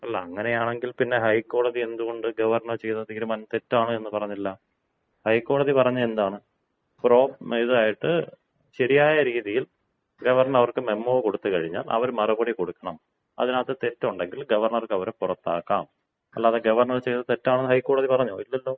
അല്ല അങ്ങനെയാണെങ്കിൽ പിന്നെ ഹൈക്കോടതി എന്തുകൊണ്ട് ഗവർണർ ചെയ്ത തീരുമാനം തെറ്റാണെന്ന് പറഞ്ഞില്ല? ഹൈക്കോടതി പറഞ്ഞത് എന്താണ്? ഇതായിട്ട് ശരിയായ രീതിയിൽ ഗവർണർ അവർക്ക് മെമ്മോ കൊടുത്തു കഴിഞ്ഞാൽ അവർ മറുപടി കൊടുക്കണം. അതിനകത്ത് തെറ്റുണ്ടെങ്കിൽ ഗവർണർക്ക് അവരെ പുറത്താക്കാം. അല്ലാതെ ഗവർണർ ചെയ്തത് തെറ്റാണോ എന്ന് ഹൈക്കോടതി പറഞ്ഞോ? ഇല്ലല്ലോ.